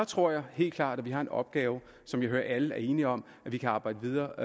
tror jeg helt klart at vi har en opgave som jeg hører at alle er enige om at vi kan arbejde videre